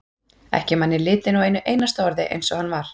Ekki man ég litinn á einu einasta orði eins og hann var.